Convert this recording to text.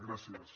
gràcies